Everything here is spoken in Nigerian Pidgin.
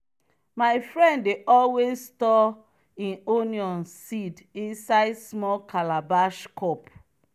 my friend dey always store e onion seed inside small calabash cup.